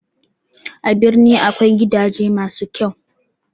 A birni akwai gidaje masu kyau